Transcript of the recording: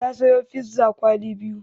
Ta sayo piza kwali biyu.